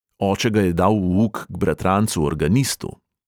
Oče ga je dal v uk k bratrancu organistu.